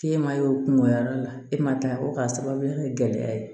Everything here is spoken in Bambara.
K'e ma ye o kungoya yɔrɔ la e ma taa o k'a sababuya kɛ gɛlɛya ye